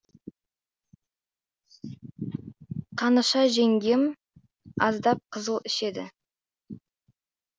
қаныша жеңгем аздап қызыл ішеді